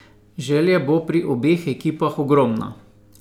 Želja bo pri obeh ekipah ogromna.